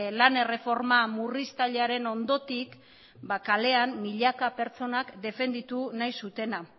lan erreforma murriztailearen ondotik ba kalean milaka pertsonak defenditu nahi zutena